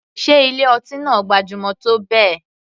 Sé ilé ọtí náà gbajúmọ̀ tó bẹ́ẹ̀.